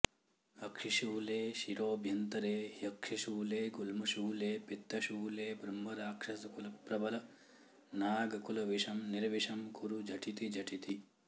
अक्षिशूले शिरोऽभ्यन्तरे ह्यक्षिशूले गुल्मशूले पित्तशूले ब्रह्मराक्षसकुलप्रबलनागकुलविषं निर्विषं कुरु झटितिझटिति